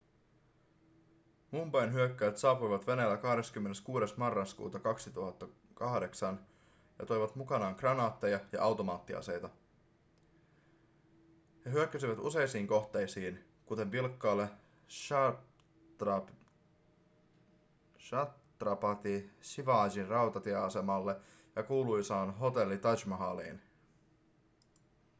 mumbain hyökkääjät saapuivat veneellä 26 marraskuuta 2008 ja toivat mukanaan kranaatteja ja automaattiaseita he hyökkäsivät useihin kohteisiin kuten vilkkaalle chhatrapati shivajin rautatieasemalle ja kuuluisaan hotelli taj mahaliin